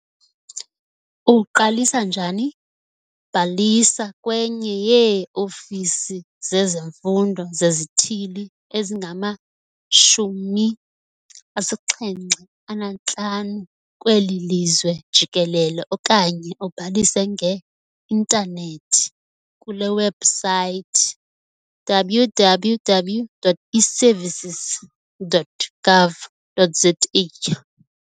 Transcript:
Uqalisa njani? Bhalisa kwenye yee-ofisi zezemfundo zezithili ezingama-75 kweli lizwe jikelele okanye ubhalise nge-intanethi kule webhusaythi- www.eservices.gov.za.